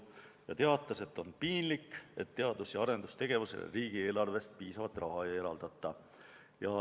Ta teatas, et on piinlik, kui teadus- ja arendustegevusele riigieelarvest piisavalt raha ei eraldata.